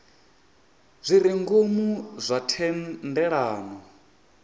zwi re ngomu zwa thendelano